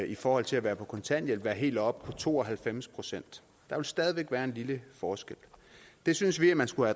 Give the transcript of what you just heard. i forhold til at være på kontanthjælp være helt oppe på to og halvfems procent der vil stadig væk være en lille forskel det synes vi at man skulle